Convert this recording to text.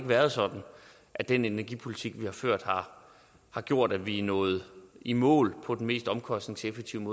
været sådan at den energipolitik vi har ført har gjort at vi er nået i mål på den mest omkostningseffektive